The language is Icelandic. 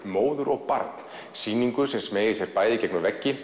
móður og barn sýningu sem smeygir sér í gegnum vegg